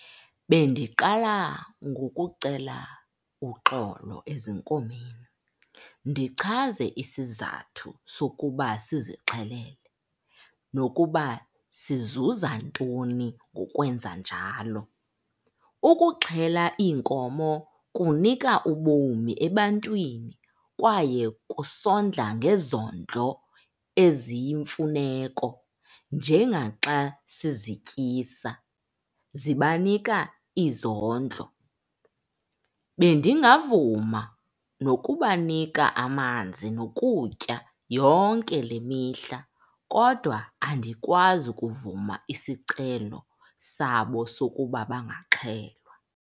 Bendiqala ngokucela uxolo ezinkomeni ndichaze isizathu sokuba sizixhelele nokuba sizuza ntoni ngokwenza njalo. Ukuxhela iinkomo kunika ubomi ebantwini kwaye kusondla ngezondlo eziyimfuneko njenga xa sizityisa, zibanika izondlo. Bendingavuma nokubanika amanzi nokutya yonke le mihla kodwa andikwazi ukuvuma isicelo sabo sokuba bangaxhelwa.